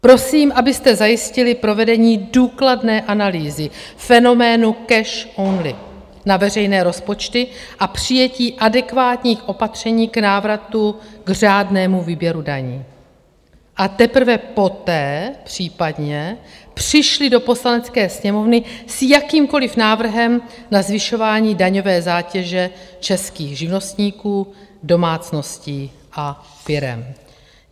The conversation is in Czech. Prosím, abyste zajistili provedení důkladné analýzy fenoménu "cash only" na veřejné rozpočty a přijetí adekvátních opatření k návratu k řádnému výběru daní, a teprve poté případně přišli do Poslanecké sněmovny s jakýmkoliv návrhem na zvyšování daňové zátěže českých živnostníků, domácností a firem.